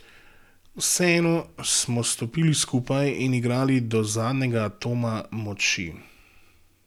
Vseeno smo stopili skupaj in igrali do zadnjega atoma moči.